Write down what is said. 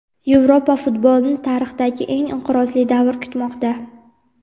"Yevropa futbolini tarixdagi eng inqirozli davr kutmoqda".